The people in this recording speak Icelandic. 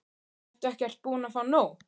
Ertu ekkert búin að fá nóg?